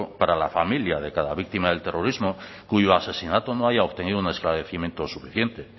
para la familia de cada víctima del terrorismo cuyo asesinato no haya obtenido un esclarecimiento suficiente